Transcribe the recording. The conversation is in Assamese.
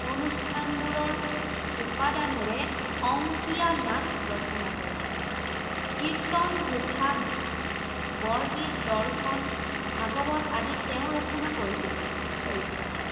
অনুষ্ঠানবোৰৰ, উপাদানেৰে অঙ্কীয়া নাট ৰচনা কৰে। কীৰ্ত্তন-ঘোষা, বৰগীত, দৰ্শন, ভাগৱত আদি তেওঁ ৰচনা কৰিছিল, চৰিত্ৰ